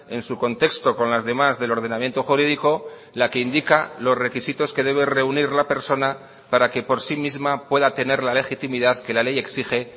en su contexto con las demás del ordenamiento jurídico la que indica los requisitos que debe reunir la persona para que por sí misma pueda tener la legitimidad que la ley exige